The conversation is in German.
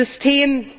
Es ist System.